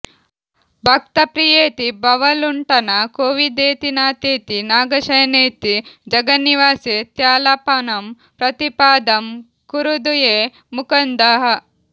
ಭಕ್ತ ಪ್ರಿಯೇತಿ ಭವಲುಂಠನ ಕೋವಿದೇತಿನಾಥೇತಿ ನಾಗಶಯನೇತಿ ಜಗನ್ನಿವಾಸೇ ತ್ಯಾಲಾಪನಂ ಪ್ರತಿಪದಾಂ ಕುರುದುಏ ಮುಕಂದಃ